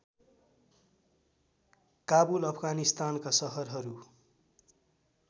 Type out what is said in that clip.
काबुल अफगानिस्तानका सहरहरू